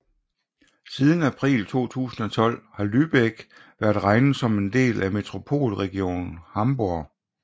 Siden april 2012 har Lübeck været regnet som en del af Metropolregion Hamburg